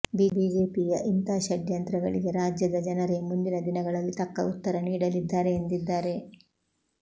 ಬಿಜೆಪಿಯ ಇಂಥ ಷಡ್ಯಂತ್ರಗಳಿಗೆ ರಾಜ್ಯದ ಜನರೇ ಮುಂದಿನ ದಿನಗಳಲ್ಲಿ ತಕ್ಕ ಉತ್ತರ ನೀಡಲಿದ್ದಾರೆ ಎಂದಿದ್ದಾರೆ